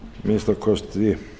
að minnsta kosti